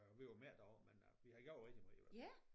Øh vi var mere deroppe men øh vi har gjort det rigtig meget i hvert fald